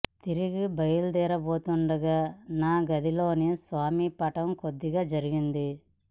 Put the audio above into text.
తిరిగి బయలుదేరబోతుండగా నా గది లోని స్వామి పటం కొద్దిగా ఒరిగింది